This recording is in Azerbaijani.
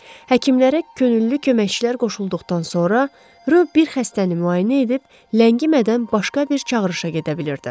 Həkimlərə könüllü köməkçilər qoşulduqdan sonra Ro bir xəstəni müayinə edib, ləngimədən başqa bir çağırışa gedə bilirdi.